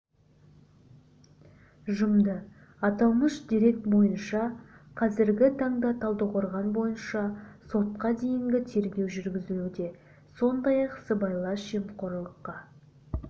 жұмды аталмыш дерек бойынша қазіргі таңда талдықорған бойынша сотқа дейінгі тергеу жүргізілуде сондай-ақ сыбайлас жемқорлыққа